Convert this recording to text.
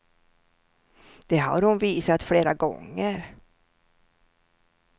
Det har hon visat flera gånger.